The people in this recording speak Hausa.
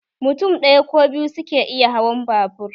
Mutum ɗaya ko biyu suke iya hawan babur